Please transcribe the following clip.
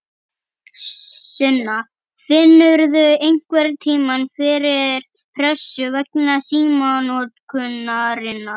Sunna: Finnurðu einhverntímann fyrir pressu vegna símanotkunarinnar?